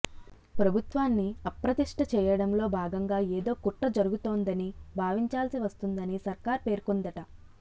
ప్రభుత్వాన్ని అప్రతిష్ఠ చేయడంలో భాగంగా ఏదో కుట్ర జరుగుతోందని భావించాల్సి వస్తోందని సర్కారు పేర్కొందట